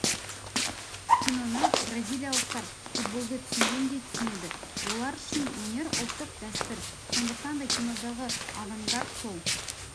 киноны бразилиялықтар футболды түсінгендей түсінеді олар үшін өнер ұлттық дәстүр сондықтан да кинодағы авангард сол